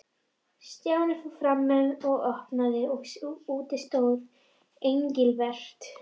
Stjáni fór fram og opnaði og úti stóð Engilbert.